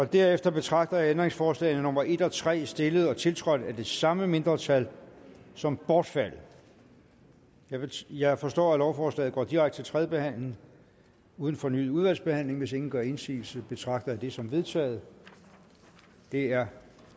derefter betragter jeg ændringsforslagene nummer en og tre stillet og tiltrådt af det samme mindretal som bortfaldet jeg forstår at lovforslaget går direkte til tredje behandling uden fornyet udvalgsbehandling hvis ingen gør indsigelse betragter jeg det som vedtaget det er